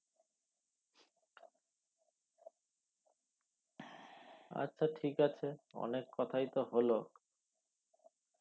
আচ্ছা ঠিক আছে অনেক কোথাই তো হল